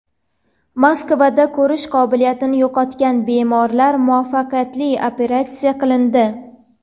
Moskvada ko‘rish qobiliyatini yo‘qotgan bemorlar muvaffaqiyatli operatsiya qilindi.